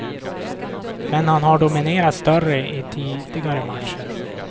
Men han har dominerat större i tidigare matcher.